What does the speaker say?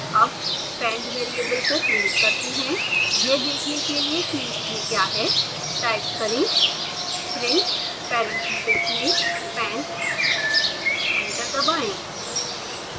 अब pend variable को print करते हैं यह देखने के लिए कि इसमें क्या है